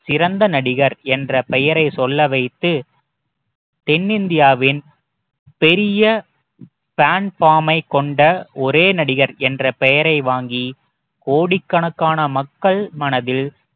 சிறந்த நடிகர் என்ற பெயரை சொல்ல வைத்து தென்னிந்தியாவின் பெரிய fanform மை கொண்ட ஒரே நடிகர் என்ற பெயரை வாங்கி கோடிக்கணக்கான மக்கள் மனதில்